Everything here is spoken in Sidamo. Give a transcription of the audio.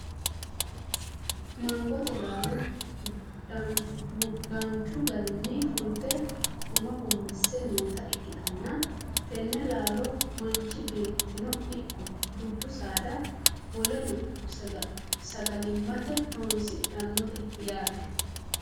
mangote laalo danchu garinni fulte gumma gummisse noota ikkitanna, tenne laalono manchi beettino ikko dubbu saada woleno sagalimmate horonsidhannote yaate.